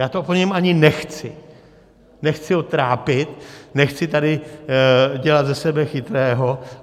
Já to po něm ani nechci, nechci ho trápit, nechci tady dělat ze sebe chytrého.